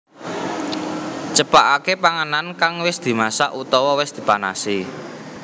Cepakaké panganan kang wis dimasak utawa wis dipanasi